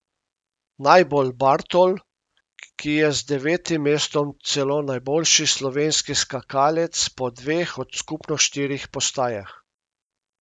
Najbolj Bartol, ki je z devetim mestom celo najboljši slovenski skakalec po dveh od skupno štirih postajah.